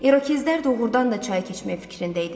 İrokezlər doğurdan da çayı keçməyə fikrində idilər.